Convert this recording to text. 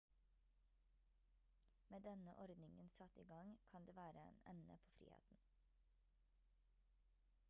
med denne ordningen satt i gang kan det være en ende på friheten